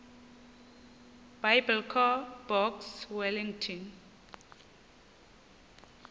biblecor box wellington